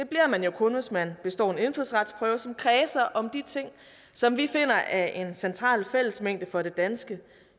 man jo kun hvis man består en indfødsretsprøve som kredser om de ting som vi finder er en central fællesmængde for det danske